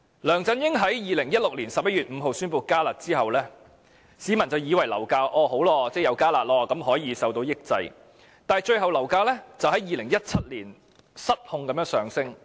梁振英在2016年11月5日宣布"加辣"後，市民便以為樓價會因"加辣"而受到抑制，但最終樓價在2017年失控地上升。